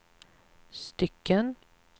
stycken